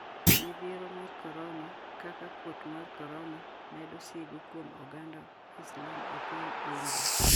Midhiero mar korona: Kaka kuot mar korona medo sigu kuom oganda Islam e piny India